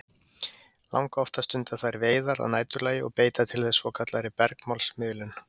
Langoftast stunda þær veiðar að næturlagi og beita til þess svokallaðri bergmálsmiðun.